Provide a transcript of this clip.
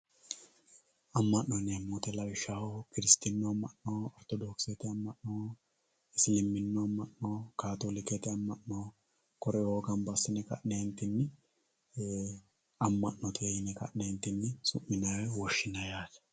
amma'no yineemmo woyiite lawishshaho kiristaanu amma'no ortodokisete amma'no isiliminnu amma'no kaatoolikete amma'no kore"oo ganba assine ka'neentinni amma'note yine ka'neentinni su'minay woy woshshinay yaate